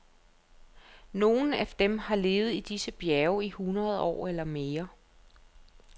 Nogle af dem har levet i disse bjerge i hundrede år eller mere.